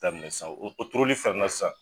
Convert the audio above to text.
Ta mina san o turuli fɛnɛ sa